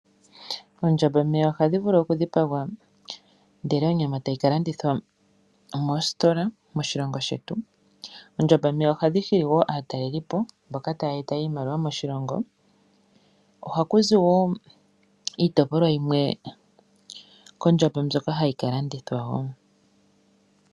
Ompanda ohayi vulu okudhipagwa, ndele onyama tayi ka landithwa moositola moshilongo shetu. Oomanda ohadhi hili wo aatalelipo, mboka taya eta iimaliwa moshilongo. Ohaku zi wo iitopolwa yimwe mbyoka hayi ka landithwa wo.